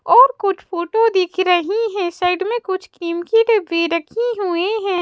और कुछ फोटो दिख रही है साइड में कुछ क्रीम की डब्बी रखी हुई है।